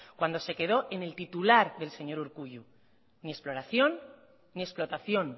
cuando se quedó en el titular del señor urkullu ni exploración ni explotación